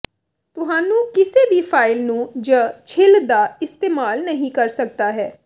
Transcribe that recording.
ਤੁਹਾਨੂੰ ਕਿਸੇ ਵੀ ਫਾਇਲ ਨੂੰ ਜ ਛਿੱਲ ਦਾ ਇਸਤੇਮਾਲ ਨਹੀ ਕਰ ਸਕਦਾ ਹੈ